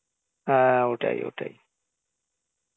হ্যাঁ, ওটাই ওটাই